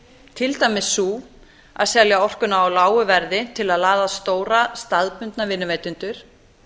til dæmis sú að selja orkuna á lágu verði til að laða að stóra staðbundna vinnuveitendur